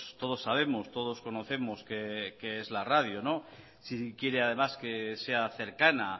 todos sabemos todos conocemos qué es la radio si quiere además que sea cercana